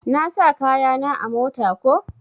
Na sa kaya na a mota ko.